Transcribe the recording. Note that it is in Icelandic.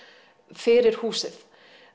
fyrir húsið